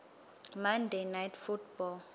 monday night football